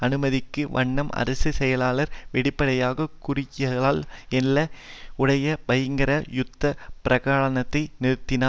அனுமதிக்கும் வண்ணம் அரசு செயலாளர் வெளிப்படையாக குறுகியகால எல்லை உடைய பகிரங்க யுத்த பிரகடனத்தை நிறுத்தினார்